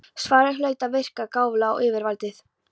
Svarið hlaut að verka gáfulega á yfirvaldið.